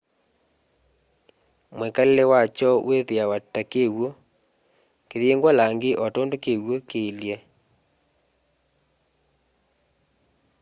mwikalile wakyo wiithiwa ta wa kiw'u kiyingwa langi o tondu kiw'u kiilye